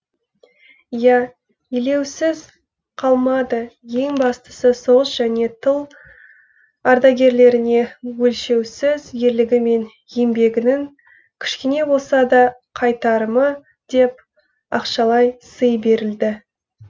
иә елеусіз қалмады ең бастысы соғыс және тыл ардагерлеріне өлшеусіз ерлігі мен еңбегінің кішкене болса да қайтарымы деп ақшалай сый берілді